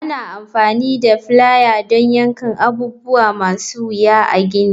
Ana amfani da plier don yankan abubuwa masu wuya a gini.